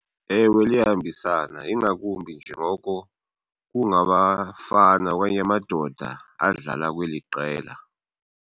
Ewe liyahambisana ingakumbi njengoko kungabafana okanye amadoda adlala kweli qela.